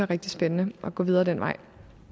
rigtig spændende at gå videre den vej